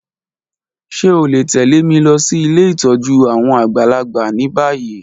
Ṣe o le tẹ̀lé mi losí ilé ìtójú àwon àgbàlagbà ni bayi?